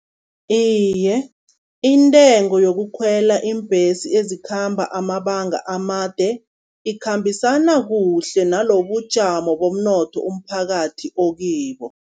Iye, intengo yokukhwela iimbhesi ezikhamba amabanga amade ikhambisana kuhle nalobujamo bomnotho umphakathi okibo.